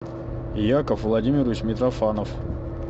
яков владимирович митрофанов